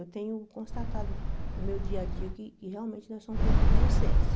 Eu tenho constatado no meu dia a dia que que realmente nós somos perfeitos na essência.